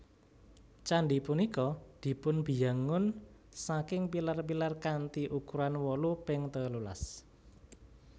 Candhi punika dipunbiyangun saking pilar pilar kanthi ukuran wolu ping telulas